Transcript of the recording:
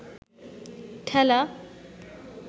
ঠেলা